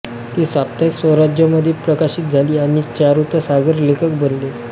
ती साप्ताहिक स्वराज्यमध्ये प्रकाशित झाली आणि चारुता सागर लेखक बनले